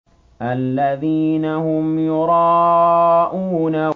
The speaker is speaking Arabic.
الَّذِينَ هُمْ يُرَاءُونَ